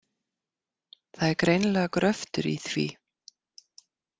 Það er greinilega gröftur í því.